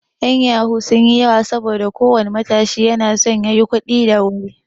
'Yan yahoo sun yi yawa saboda ko wani matashi na so ya yi kuɗi da wuri.